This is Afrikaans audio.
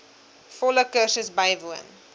volle kursus bywoon